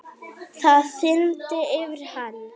Það þyrmdi yfir hann.